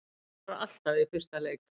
Skorar alltaf í fyrsta leik